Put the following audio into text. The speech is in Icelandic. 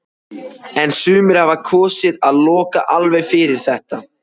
En sumir hafa kosið að loka alveg fyrir þetta.